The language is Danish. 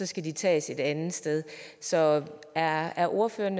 skal de tages et andet sted så er er ordføreren